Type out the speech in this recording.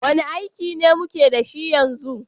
Wane aiki muke da shi yanzu?